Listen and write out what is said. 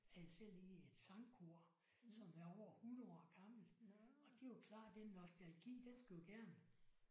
Jeg er selv i et sangkor som er over 100 år gammelt og det er jo klart den nostalgi den skal jo gerne